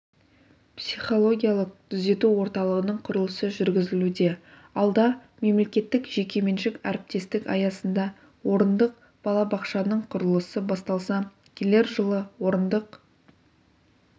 психологиялық-түзету орталығының құрылысы жүргізілуде алда мемлекеттік-жекеменшік әріптестік аясында орындық балабақшаның құрылысы басталса келер жылы орындық